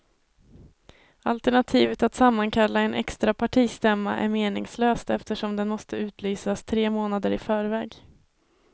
Alternativet att sammankalla en extra partistämma är meningslöst eftersom den måste utlysas tre månader i förväg.